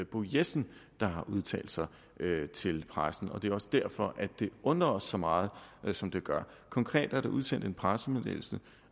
bo jessen der har udtalt sig til pressen og det er også derfor det undrer os så meget som det gør konkret er der udsendt en pressemeddelelse